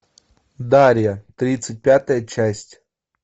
дарья тридцать пятая часть